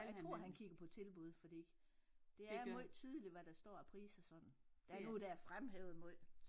Jeg tror han kigger på tilbud fordi det er måj tydeligt hvad der står af priser sådan der er nogle der er fremhævet måj